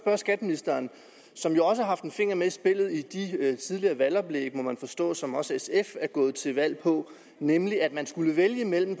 at skatteministeren har haft en finger med i spillet ved de tidligere valgoplæg som også sf er gået til valg på nemlig at man skulle vælge imellem